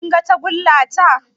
Kin ga tagulla ta?